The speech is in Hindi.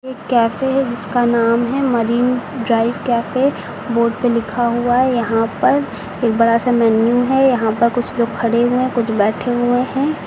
कैफे है जिसका नाम है मरीन ड्राइव कैफे बोर्ड पे लिखा हुआ है यहां पर एक बड़ा सा मेनू है यहां पर कुछ लोग खड़े हुए हैं कुछ बैठे हुए हैं।